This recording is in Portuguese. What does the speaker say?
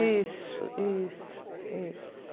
Isso, isso, isso.